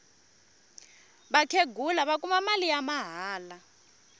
vakhenghula va kuma mali ya mahala